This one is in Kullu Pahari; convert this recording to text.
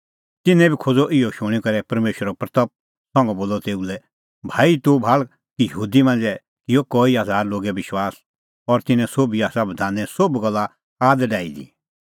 तिन्नैं बी इहअ शूणीं करै परमेशरे महिमां की तेखअ तेऊ लै बोलअ भाई तूह भाल़ा कि यहूदी मांझ़ै किअ कई हज़ार लोगै विश्वास और तिन्नैं सोभी आसा बधाने सोभ गल्ला आद डाही दी